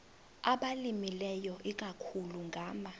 abalimileyo ikakhulu ngama